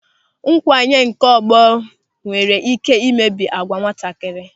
Nkwanye nke ọgbọ nwere ị́ké imebi agwa nwatakịrị.